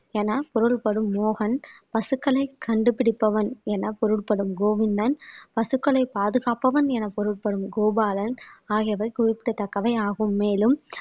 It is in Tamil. என குரல்படும் மோகன் பசுக்களை கண்டுபிடிப்பவன் என பொருள்படும் கோவிந்தன் பசுக்களை பாதுகாப்பவன் என பொருள்படும் கோபாலன் ஆகியவை குறிப்பிடத்தக்கவை ஆகும் மேலும்